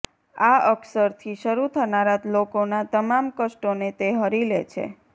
આ અક્ષર થી શરૂ થનારા લોકો ના તમામ કષ્ટો ને તે હરી લે છે